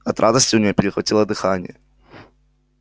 от радости у нее перехватило дыхание